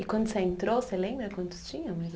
E quando você entrou, você lembra quantos tinham?